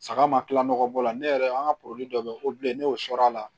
Saga ma kila nɔgɔ bɔ la ne yɛrɛ an ka dɔ bɛ kobilen ne y'o sɔrɔ a la